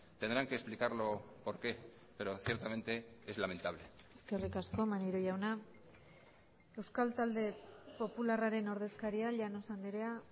tendrán que explicarlo por qué pero ciertamente es lamentable eskerrik asko maneiro jauna euskal talde popularraren ordezkaria llanos andrea